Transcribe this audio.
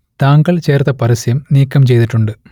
താങ്കൾ ചേർത്ത പരസ്യം നീക്കം ചെയ്തിട്ടുണ്ട്